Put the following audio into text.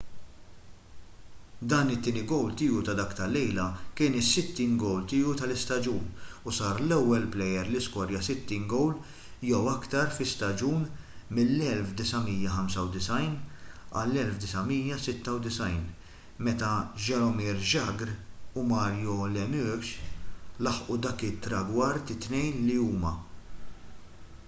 dan it-tieni gowl tiegħu ta’ dik il-lejla kien is-60 gowl tiegħu tal-istaġun u sar l-ewwel plejer li skorja 60 gowl jew iktar fi staġun mill-1995-96 meta jaromir jagr u mario lemieux laħqu dak it-tragward it-tnejn li huma